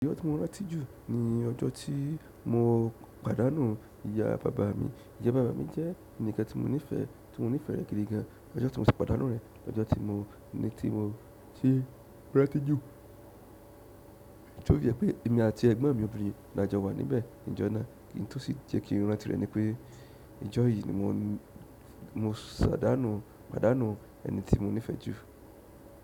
Ọjọ́ tí mo rántí jù ni ọjọ́ tí mo pàdánù ìyá bàbá mi. Ìyá bàbá mi jẹ́ ènìkàn tí mo nífẹ̀ẹ́, tí mo nífẹ̀ẹ́ rẹ̀ gidi gan. Ọjọ́ tí mo si pàdánù rẹ̀, ọjọ́ tí mo ní tí mo ti rántí jù. Ti ó jẹ́ pé èmi àti ẹ̀gbọ́n mi obìnrin làjọ wà níbẹ̀. Ǹjẹ́ náà kí n tó sì jẹ́ kí n rántí rẹ̀ ni pé, ojo yì ni mo sàdánù, pàdánù ẹni tí mo nífẹ̀ẹ́ jù?